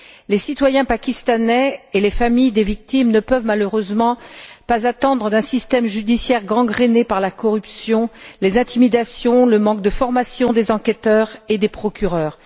Les citoyens pakistanais et les familles des victimes ne peuvent malheureusement pas attendre beaucoup d'un système judiciaire gangréné par la corruption, les intimidations, le manque de formation des enquêteurs et des procureurs.